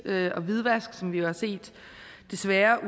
og hvidvask som vi jo desværre